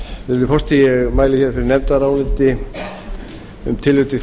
virðulegi forseti ég mæli fyrir nefndaráliti um tillögu til